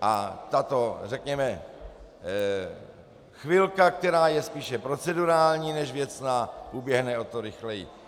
a tato, řekněme, chvilka, která je spíše procedurální než věcná, uběhne o to rychleji.